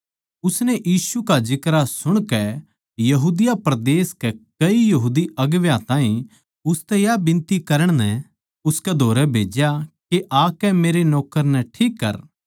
उसनै यीशु का जिक्रा सुणकै यहूदिया नगर के कई यहूदी अगुवां ताहीं उसतै या बिनती करण नै उसकै धोरै भेज्या के आकै मेरै नौक्कर नै ठीक करै